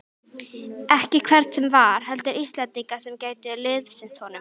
Ekki hvern sem var, heldur Íslendinga sem gætu liðsinnt honum.